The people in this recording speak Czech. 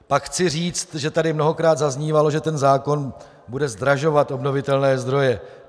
Pak chci říct, že tady mnohokrát zaznívalo, že ten zákon bude zdražovat obnovitelné zdroje.